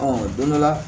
don dɔ la